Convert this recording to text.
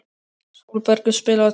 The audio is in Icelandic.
Sólbergur, spilaðu tónlist.